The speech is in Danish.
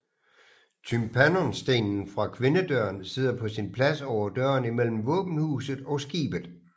Tympanonstenen fra kvindedøren sidder på sin plads over døren imellem våbenhuset og skibet